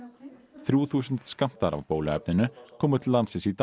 þrjú þúsund skammtar af bóluefninu komu til landsins í dag